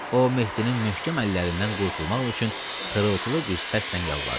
O Mehdinin möhkəm əllərindən qurtulmaq üçün xırıltılı bir səslə yalvardı.